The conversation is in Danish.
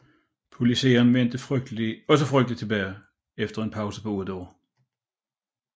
Politiseren vendte også frygteligt tilbage efter en pause på otte år